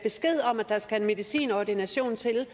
der skal en medicinordination til